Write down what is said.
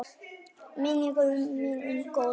Minning mín um góðan vin.